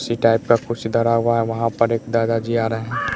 इसी टाइप का कुछ धरा हुआ है वहां पर एक दादा जी आ रहे हैं।